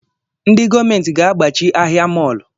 Ndị gọọmenti ga-agbachi ahịa mọlụ